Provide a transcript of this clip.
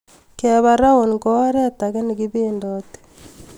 Keba round---- ko oret age nekibendoti